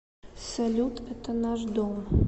салют это наш дом